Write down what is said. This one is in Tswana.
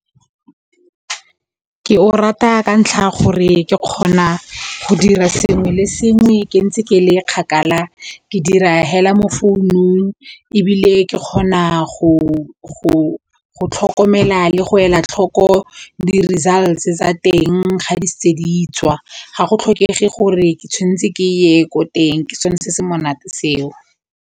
Ke o rata ka ntlha ya gore ke kgona go dira sengwe le sengwe ke ntse ke le kgakala ke dira hela mo founung ebile ke kgona go tlhokomela le go ela tlhoko di-results tsa teng ga di setse di tswa, ga go tlhokege gore ke tshwanetse ke ye ko teng ke sone se se monate seo.